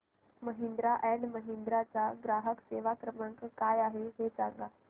Mahindra and Mahindra चा ग्राहक सेवा क्रमांक काय आहे हे सांगा